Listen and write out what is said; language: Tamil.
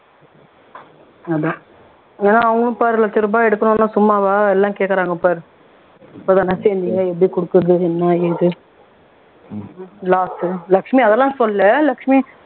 அதான் ஏன்னா அவங்களும் பாரு லட்சம் ரூபாய் எடுக்கணும்னா சும்மாவா எல்லாம் கேக்குறாங்க பாரு எல்லாம் எப்படி குருக்குறது என்ன ஏது last லட்சுமி அதெல்லாம் சொல்லல லட்சுமி